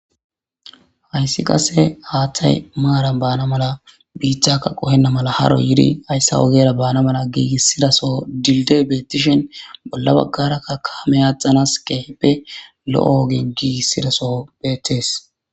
hayssi qase haaththay maaran baana mala biittakka qohenna mala haro yidi hayssa ogera baana mala giigissidaso dilde beetishen bolla baggarakka kaame aathanas kehippe lo7o ogen giigissidaso beettees